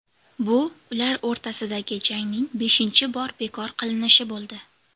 Bu ular o‘rtasidagi jangning beshinchi bor bekor qilinishi bo‘ldi.